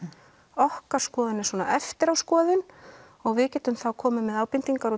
okkar skoðun er svona eftir á skoðun og við getum þá komið með ábendingar og